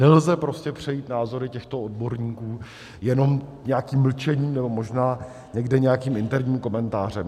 Nelze prostě přejít názory těchto odborníků jenom nějakým mlčením, nebo možná někde nějakým interním komentářem.